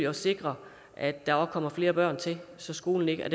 at sikre at der kommer flere børn til så skolen ikke